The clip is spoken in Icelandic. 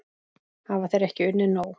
Hafa þeir ekki unnið nóg?